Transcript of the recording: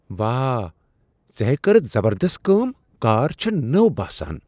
واہ! ژےٚ ہے کٔرتھ زبردست کٲم۔ کار چھےٚ نٔو باسان!